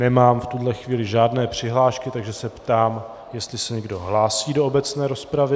Nemám v tuto chvíli žádné přihlášky, takže se ptám, jestli se někdo hlásí do obecné rozpravy.